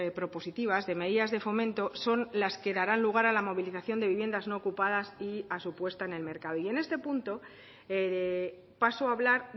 propositivas de medidas de fomento son la que darán lugar a la movilización de viviendas no ocupadas y a su puesta en el mercado y en este punto paso a hablar